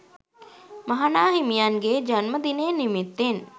මහා නා හිමියන්ගේ ජන්ම දිනය නිමිත්තෙන්